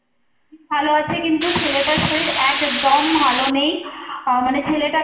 ভালো আছে কিন্তু ছেলেটার শরীর একদম ভালো নেই আহ মানে ছেলেটাকে,